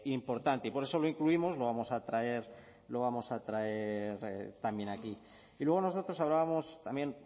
importante y por eso lo incluimos lo vamos a traer también aquí y luego nosotros hablábamos también